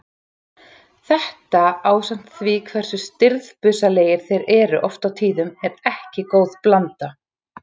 Þetta ásamt því hversu stirðbusalegir þeir eru oft á tíðum er ekki góð blanda.